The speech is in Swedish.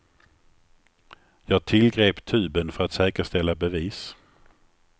Jag tillgrep tuben för att säkerställa bevis.